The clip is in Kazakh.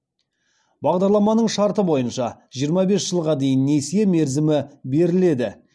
бағдарламаның шарты бойынша жиырма бес жылға дейін несие мерзімі беріледі